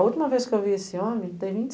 A última vez que eu vi esse homem, ele tem vinte